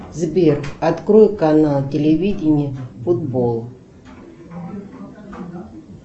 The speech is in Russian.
сбер открой канал телевидение футбол